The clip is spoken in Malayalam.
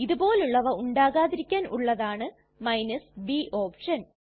ഇതുപോലുള്ളവ ഉണ്ടാകാതിരിക്കാൻ ഉള്ളതാണ് b ഓപ്ഷൻ